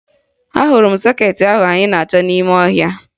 Ahụrụ m sọkeetị ahụ anyị na-achọ n'ime ọhịa